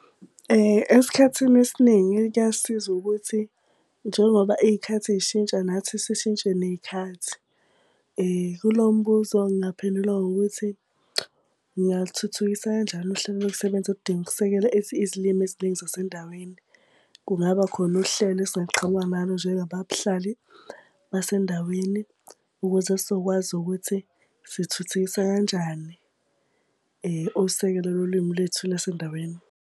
Esikhathini esiningi kuyasiza ukuthi njengoba iy'khathi yishintsha nathi sishintshe ney'khathi. Kulo mbuzo, ngingaphendula ngokuthi ngingathuthukisa kanjani uhlelo lokusebenza oludinga ukusekela izilimi eziningi zasendaweni? Kungaba khona uhlelo esengaqhamuka nalo njengabahlali basendaweni, ukuze sizokwazi ukuthi sithuthukise kanjani usekelo lolwimi lethu lwasendaweni.